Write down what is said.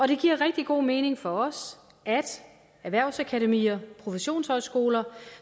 det giver rigtig god mening for os at erhvervsakademier professionshøjskoler